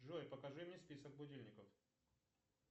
джой покажи мне список будильников